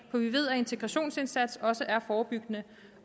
for vi ved at integrationsindsats også er forebyggende